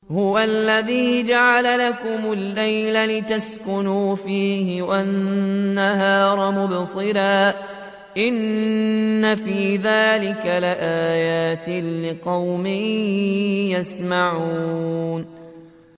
هُوَ الَّذِي جَعَلَ لَكُمُ اللَّيْلَ لِتَسْكُنُوا فِيهِ وَالنَّهَارَ مُبْصِرًا ۚ إِنَّ فِي ذَٰلِكَ لَآيَاتٍ لِّقَوْمٍ يَسْمَعُونَ